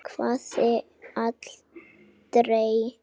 Hafði aldrei gert það.